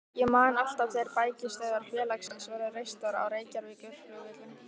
Ég man alltaf þegar bækistöðvar félagsins voru reistar á Reykjavíkurflugvelli.